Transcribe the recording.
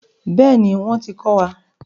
Bẹ́ẹ̀ni, wọ́n ti ko wá.